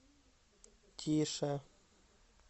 тише